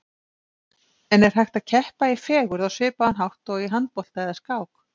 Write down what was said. En er hægt að keppa í fegurð á svipaðan hátt og í handbolta eða skák?